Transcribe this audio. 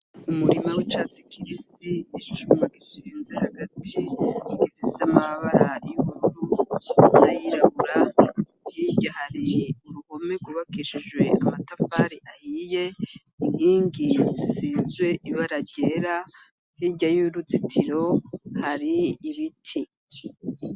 Umurima w'icatsi kibisi , icuma gishinze hagati gifise amabara y'ubururu n'ayirabura, hirya hari uruhome rwubakishijwe amatafari ahiye, inkingi zisize ibara ryera, hirya y'uruzitiro hari ibiti.